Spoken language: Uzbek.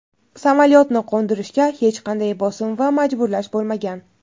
"samolyotni qo‘ndirishga hech qanday bosim va majburlash bo‘lmagan".